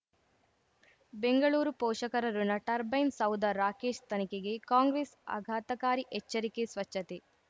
ಬೆಂಗಳೂರು ಪೋಷಕರಋಣ ಟರ್ಬೈನ್ ಸೌಧ ರಾಕೇಶ್ ತನಿಖೆಗೆ ಕಾಂಗ್ರೆಸ್ ಆಘಾತಕಾರಿ ಎಚ್ಚರಿಕೆ ಸ್ವಚ್ಛತೆ